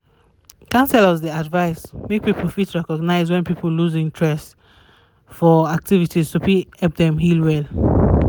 counselors dey um advice um make people fit recognize wen people loose interest for um activities to fit help dem heal well